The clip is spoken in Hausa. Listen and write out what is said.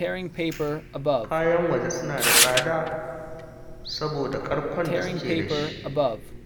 Kayan waje suna da tsada, saboda ƙarkon da suke da shi.